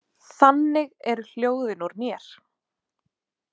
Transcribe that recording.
Þannig eru hljóðin úr mér.